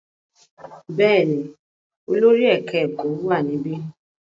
Bẹ́ẹ̀ ni, olórí ẹ̀ka-ẹ̀kọ́ wà níbí.